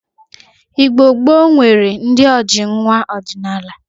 Igbo gboo nwere ndi ojii nwa ọdinaala.